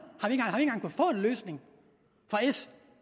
har få en løsning fra s